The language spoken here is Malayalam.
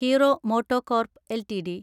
hero MotoCorp LTD